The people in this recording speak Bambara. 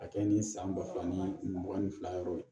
A kɛ ni san ba fila ni mugan ni fila yɔrɔ ye